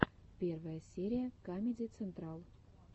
первая серия камеди централ